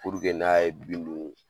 Puruke n'a ye bin dun